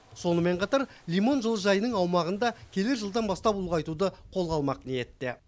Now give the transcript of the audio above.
сонымен қатар лимон жылыжайының аумағын да келер жылдан бастап ұлғайтуды қолға алмақ ниетте